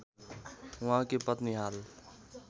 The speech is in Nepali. उहाँकी पत्नी हाल